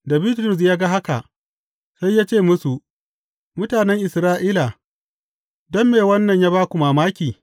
Da Bitrus ya ga haka, sai ya ce musu, Mutanen Isra’ila, don me wannan ya ba ku mamaki?